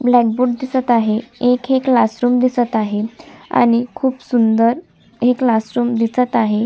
Black board दिसत आहे एक हे क्लासरूम दिसत आहे आणि खुप सुंदर हे क्लासरूम दिसत आहे.